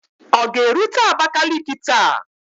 Ọ ga-erute Abakaliki taa?